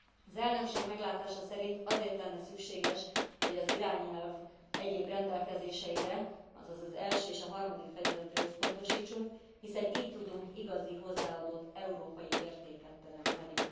Az elnökség meglátása szerint azért lenne szükséges, hogy az irányelv egyéb rendelkezéseire, azaz az első és a harmadik fejezetre összpontosítsunk, hiszen itt tudunk igazi hozzáadott európai értéket teremteni.